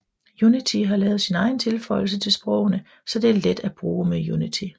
Unity har lavet sin egen tilføjelse til sprogene så det er let at bruge med Unity